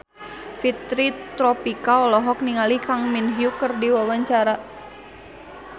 Fitri Tropika olohok ningali Kang Min Hyuk keur diwawancara